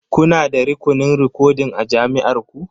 Kuna da rukunin rikodin a jami'ar ku?